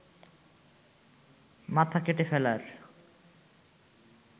মাথা কেটে ফেলার